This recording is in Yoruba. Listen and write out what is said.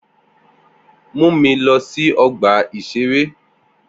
Mu mi lọ sí ọgbà-ìṣeré